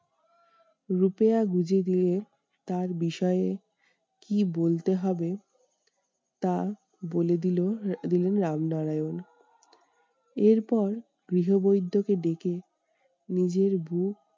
গুঁজে দিয়ে তার বিষয়ে কি বলতে হবে? তা বলে দিলো দিলেন রামনারায়ণ। এরপর গৃহ বৈদ্য কে ডেকে নিজের ভুল